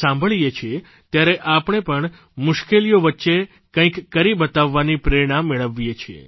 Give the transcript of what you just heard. સાંભળીએ છીએ ત્યારે આપણે પણ મુશ્કેલીઓ વચ્ચે કંઇક કરી બતાવવાની પ્રેરણા મેળવીએ છીએ